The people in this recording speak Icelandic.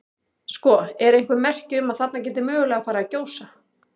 Sko, eru einhver merki um að þarna geti mögulega farið að gjósa?